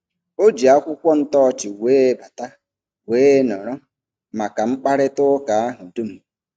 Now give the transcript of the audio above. O ji akwụkwọ ntọọchị wee bata wee nọrọ maka mkparịtaụka ahụ dum.